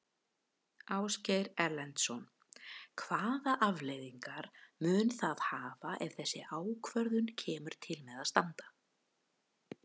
Ásgeir Erlendsson: Hvaða afleiðingar mun það hafa ef þessi ákvörðun kemur til með að standa?